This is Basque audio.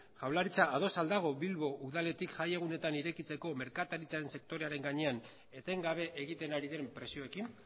jaurlaritza ados al dago bilbo udaletik jai egunetan irekitzeko merkataritzaren sektorearen gainean etengabe egiten ari den presioekin